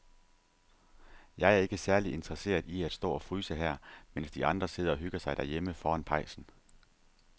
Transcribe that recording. Jeg er ikke særlig interesseret i at stå og fryse her, mens de andre sidder og hygger sig derhjemme foran pejsen.